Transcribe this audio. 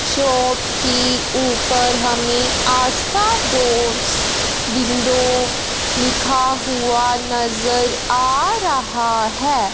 Shop की ऊपर हमें आस्था डोर्स विंडो लिखा हुआ नजर आ रहा है।